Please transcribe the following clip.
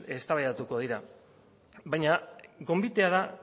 eztabaidatuko dira baina gonbitea da